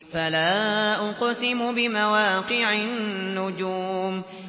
۞ فَلَا أُقْسِمُ بِمَوَاقِعِ النُّجُومِ